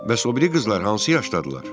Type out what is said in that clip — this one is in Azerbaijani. Bəs o biri qızlar hansı yaşdadırlar?